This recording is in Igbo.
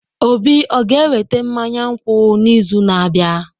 Obi o ga-eweta mmanya nkwụ n'izu na-abịa?